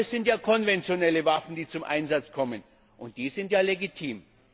Aber es sind ja konventionelle Waffen, die zum Einsatz kommen, und die sind ja legitim!